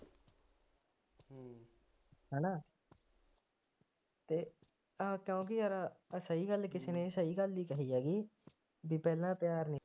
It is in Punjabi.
ਹੈ ਨਾ ਅਤੇ ਆਹ ਕਿਉਂਕਿ ਯਾਰ ਆਹ ਸਹੀ ਗੱਲ ਕਿਸੇ ਨੇ, ਸਹੀ ਗੱਲ ਹੀ ਕਹੀ ਹੈਗੀ, ਬਈ ਪਹਿਲਾਂ ਪਿਆਰ ਨਹੀਂ